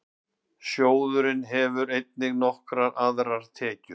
Sjóðurinn hefur einnig nokkrar aðrar tekjur.